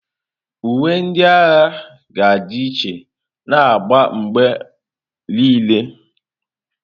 Uwe ndị agha ga-adị iche na agba mgbe niile.